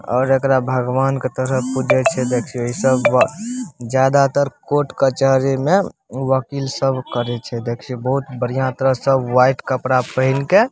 और एकरा भगवान के तरह पूजे छे देखियो इ सब अ जादातर कोर्ट कचहरी में वकील सब करे छे देखि बहुत बढ़िया तरह से वाइट कपडा पहिन के --